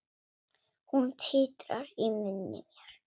Hún titrar í munni mér.